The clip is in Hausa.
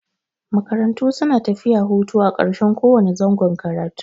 Makarantu suna tafiya hutu a ƙarshen ko wane zangon karatu.